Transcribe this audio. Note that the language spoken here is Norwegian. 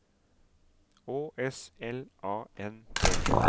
Å S L A N D